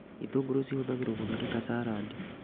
Itũngũrũ cihũthagĩrwo gũthondeka carandi